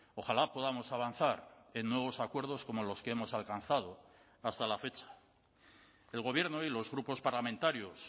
ojalá podamos avanzar en nuevos acuerdos como los que hemos alcanzado hasta la fecha el gobierno y los grupos parlamentarios